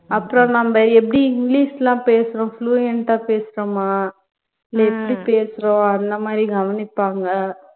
அப்பறம் நம்ப எப்படி english லாம் பேசுறோம் fluent ஆ பேசுறோமா இல்ல எப்படி பேசுறோம் அந்த மாதிரி கவனிப்பாங்க